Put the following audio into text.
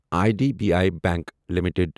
I D B I bank limited